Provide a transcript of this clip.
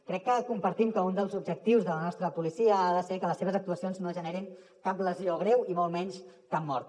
crec que compartim que un dels objectius de la nostra policia ha de ser que les seves actuacions no generin cap lesió greu i molt menys cap mort